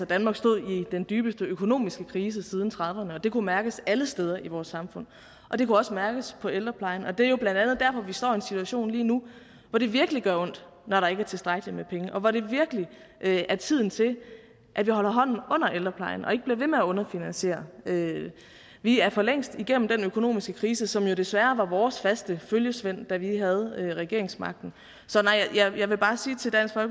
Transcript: danmark stod i den dybeste økonomiske krise siden nitten trediverne og det kunne mærkes alle steder i vores samfund og det kunne også mærkes på ældreplejen det er jo blandt andet derfor vi står i en situation lige nu hvor det virkelig gør ondt når der ikke er tilstrækkelig med penge og hvor det virkelig er tiden til at vi holder hånden under ældreplejen og ikke bliver ved med at underfinansiere vi er for længst igennem den økonomiske krise som jo desværre var vores faste følgesvend da vi havde regeringsmagten så nej jeg vil bare sige til dansk